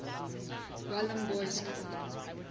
welham boys school